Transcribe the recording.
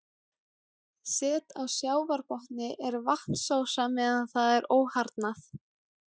Set á sjávarbotni er vatnsósa meðan það er óharðnað.